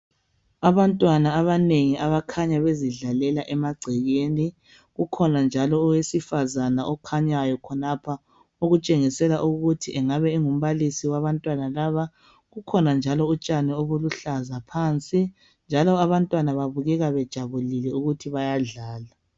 Abantwana abanengi abakhanya bezidlalela emagcekeni kukhona njalo owesifazane okhanyayo khonapho okutshengisela ukuthi engabe engumbalisi wabantwana laba kukhona njalo utshani obuluhlaza phansi njalo abantwana babukeka bejabulile ukuth bayadlala.